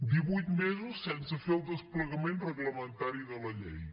divuit mesos sense fer el desplegament reglamentari de la llei